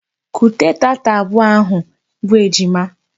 Kute taata abụọ ahụ bụ ejima!